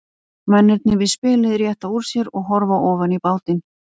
Mennirnir við spilið rétta úr sér og horfa ofan í bátinn.